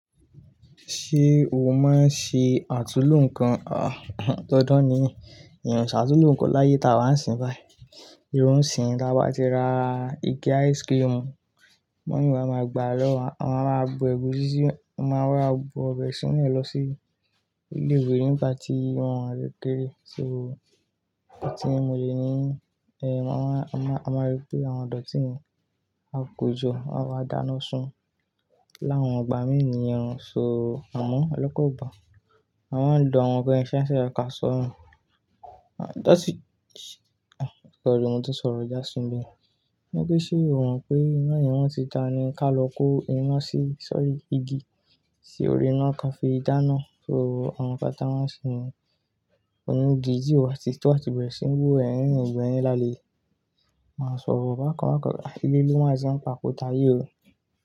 Ṣé o máa ń ṣe àtunlo ǹkan? À, dandan niyen, ìyàn o sàtunlo ǹkan láyé ta wá ńisìnyii báyìí. Irú ǹisinyii ta bá ti ra ike ice cream, mommy wa máa gbà lọ́wọ́ wa, won ma wa bawa bu egusi sinu e, won máa bawa bu obe sinu e lọ sí ilé ìwé nígbà tí mo wá ni kékèrè. So tí mo lè ní, ẹ ma, a máa rí pé àwọn idotí yen akòjọ̀, a wa dáná sun láwọn ìgbà míì ní ẹran, so a mọ́ lọ́kọ̀ bọ̀, a máa ń lo àwọn nǹkan ẹṣin sí ọkọ̀ aṣọ wọn. À, dọ́sì, kọ́ ni mo tó sọ̀rọ̀ níjà sún ni, wọ́n pé ṣé o mọ̀ pé iná yìí wọ́n ti dá ní ká lọ kó iná sí, sorry, igi sí orí iná kan fi dáná, so àwọn pátá wá ń sìn ú ní igi yìí wá títí tí wọ́n ti bẹ̀rẹ̀ sí ń wú ẹrín nínú ibẹ́ yẹn lálé. Máa sọ̀rọ̀ bákan bákan ká, ibibí ló máa sań pa kòtá yiò.